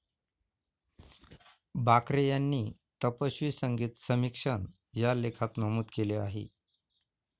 बाक्रे यांनी 'तपस्वी संगीत समीक्षण' या लेखात नमूद केले आहे.